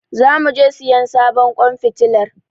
Zamu je siyan sabon ƙwan fitilar.